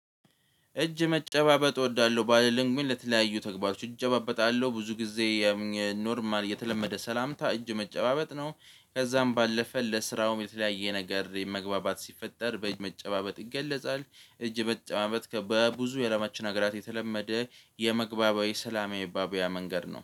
እጅ መጨባበጥ እወዳለሁ ባልልም ግን ለተለያዩ ተግባሮች እጨባበጣለሁ ብዙ ጊዜ። ኖርማል የተለመደ ሰላምታ እጅ መጨባበጥ ነው ከዛም ባለፈ ለስራውም የተለያየ ነገር መግባባት ሲፈጠር በእጅ መጨባበጥ ይገለጻል። እጅ መጨባበጥ በብዙ የአለማችን አገራት የተለመደ የመግባቢያ ሰላማ መባባያ መንገድ ነው